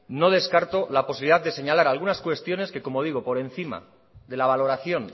no descarto la posibilidad de señalar algunas cuestiones que como digo por encima de la valoración